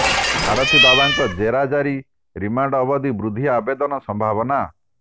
ସାରଥି ବାବାଙ୍କ ଜେରା ଜାରି ରିମାଣ୍ଡ ଅବିଧି ବୃଦ୍ଧି ଆବେଦନ ସମ୍ଭାବନା